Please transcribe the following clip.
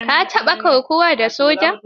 Ka taɓa kokawa da soja?